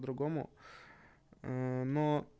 другому но